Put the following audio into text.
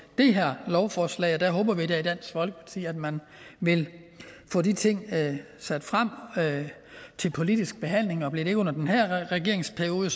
det her lovforslag og der håber vi da i dansk folkeparti at man vil få de ting sat frem til politisk behandling og bliver det ikke under den her regeringsperiode